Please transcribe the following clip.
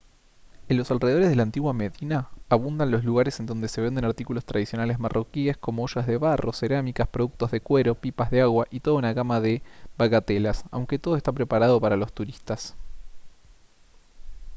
en los alrededores de la antigua medina abundan los lugares en donde se venden artículos tradicionales marroquíes como ollas de barro cerámicas productos de cuero pipas de agua y toda una gama de bagatelas aunque todo está preparado para los turistas